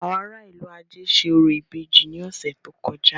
Àwọn ará a ìlú-ajé ṣe orò ìbejì ní ọ̀sẹ̀ tó kọjá.